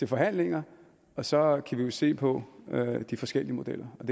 forhandlinger og så kan vi jo se på de forskellige modeller og